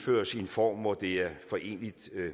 form hvor det er foreneligt